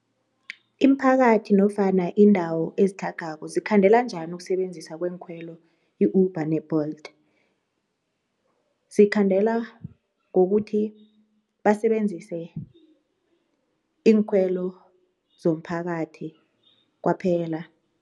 Iimphakathi nofana iindawo ezitlhagako zikhandela njani ukusebenzisa kweenkhwelo i-Uber ne-Bolt? Zikhandela ngokuthi basebenzise iinkhwelo zomphakathi kwaphela.